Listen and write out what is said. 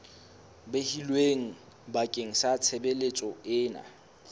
behilweng bakeng sa tshebeletso ena